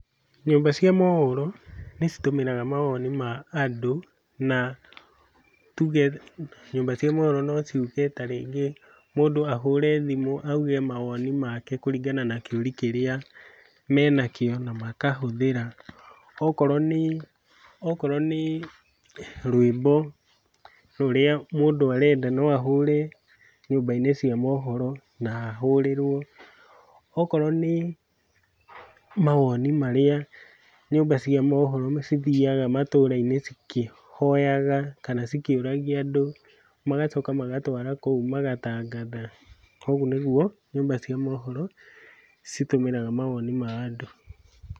Nyũmba cia mohoro nĩ citũmĩraga mawoni ma andũ, na tuge nyũmba cia mohoro no ciuge tarĩngĩ mũndũ ahũre thimũ auge mawoni make kũringana na kĩũri kĩrĩa mena kĩo na makahũthĩra. Okorwo nĩ okorwo nĩ rwĩmbo rũrĩa mũndũ arenda, no ahũre nyũmba-inĩ cia mohoro na ahũrĩrwo. Okorwo nĩ mawoni marĩa nyũmba cia mohoro cithiaga matũra-inĩ cikĩhoyaga kana cikĩũragia andũ magacoka magatwara kũu magatangatha. Koguo nĩguo nyũmba cia mohoro citũmiraga mawoni ma andũ.